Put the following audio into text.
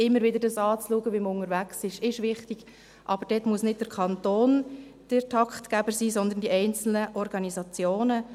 Es ist wichtig, immer wieder zu schauen, wie man unterwegs ist, aber dort muss nicht der Kanton der Taktgeber sein, sondern die einzelnen Organisationen.